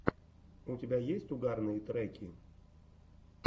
у тебя есть угарные треки